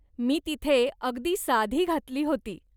मी तिथे अगदी साधी घातली होती.